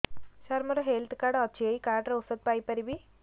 ସାର ମୋର health card ଅଛି ଏହି କାର୍ଡ ରେ ଔଷଧ ପାଇପାରିବି